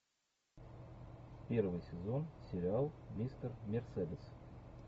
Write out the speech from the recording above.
первый сезон сериал мистер мерседес